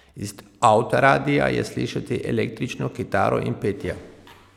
Iz avtoradia je slišati električno kitaro in petje.